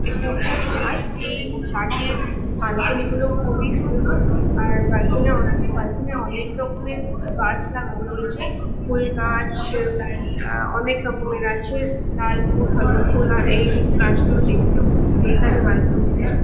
এই এই ফ্ল্যাট এর ব্যালকনি গুলো খুবই সুন্দর। আর ব্যালকনি অনে ব্যালকনি অনেক রকমের গাছ লাগানো রয়েছে। ফুল গাছ আ অনেক রকমের আছে লাল ফুল হলুদ ফুল আর এই নীল গাছ গুলো দেখতেও খুব সুন্দর লাগে ব্যালকনি -তে।